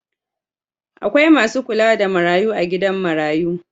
Akwai masu kula da marayu a gidan marayu